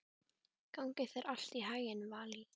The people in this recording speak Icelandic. Gangi þér allt í haginn, Valý.